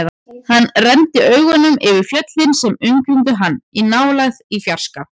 Hann renndi augunum yfir fjöllin sem umkringdu hann, í nálægð, í fjarska.